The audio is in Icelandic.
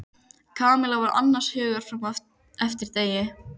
Kamilla var annars hugar fram eftir degi.